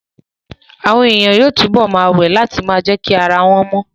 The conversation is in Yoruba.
Àwọn èèyàn yóò túbọ̀ ma wẹ̀ láti ma jẹ́kí ara wọ́n mọ